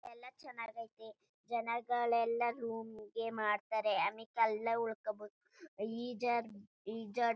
ಎಲ್ಲ ಚನ್ನಗಾಯ್ತೆ ಜನಗಳ ಎಲ್ಲ ರೂಮ್ ಗೆ ಮಾಡ್ತಾರೆ ಅಮೆಕ್ ಎಲ್ಲ ಉಳ್ಕೋಬೋದು ಈಜಾಡ್ ಈಜಾಡ್ --